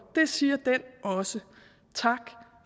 det siger den også tak